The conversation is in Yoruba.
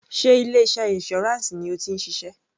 Sé ilé iṣẹ́ insurance ni o ti ń ṣiṣẹ́?